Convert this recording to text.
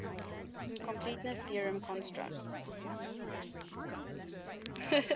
incompleteness theorem constructs